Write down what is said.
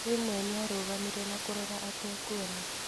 Rĩmwe nĩ arũgamire na kũrora atekuona.